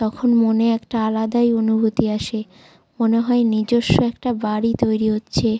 তখন মনে একটা আলাদাই অনুভূতি আসে মনে হয় নিজস্ব একটা বাড়ি তৈরি হচ্ছে।